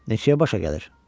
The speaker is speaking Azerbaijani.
Neçəyə başa gəlir?